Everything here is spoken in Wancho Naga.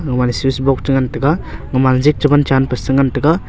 oman switch box chengan taiga oman jig cheman chan pa sengan taiga.